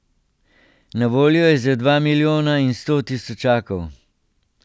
Na voljo je za dva milijona in sto tisočakov.